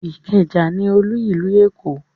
Ìkẹjà ní olú ìlú Èkó